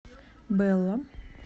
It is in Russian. белла